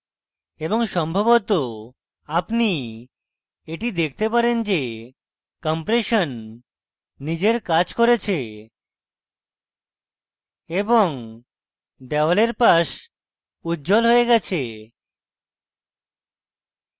এবং সম্ভবত আপনি এটি দেখতে পারেন যে compression নিজের কাজ করেছে এবং দেওয়ালের পাশ উজ্জ্বল হয়ে যায়